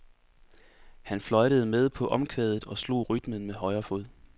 Han fløjtede med på omkvædet og slog rytmen med højre fod.